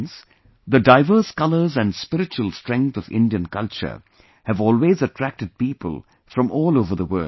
Friends, the diverse colours and spiritual strength of Indian culture have always attracted people from all over the world